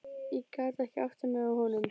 Ég gat ekki áttað mig á honum.